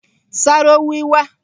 Sarowiwa